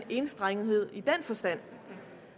enstrengethed i den forstand